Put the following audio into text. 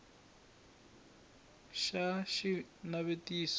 xa b xi na xivutiso